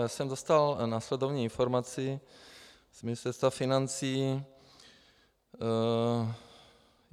Já jsem dostal následující informaci z Ministerstva financí.